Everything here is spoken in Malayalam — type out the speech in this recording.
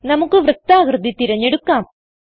നമുക്ക് വൃത്താകൃതി തിരഞ്ഞെടുക്കാം